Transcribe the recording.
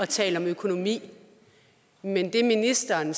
tale om økonomi men det ministeren